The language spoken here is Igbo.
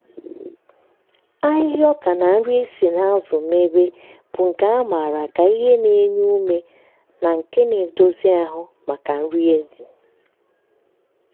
ahịhịa ọka na nri e si n’azụ mebe bụ nke a maara ka ihe na-enye ume na nke na-edozi ahụ maka nri ezi.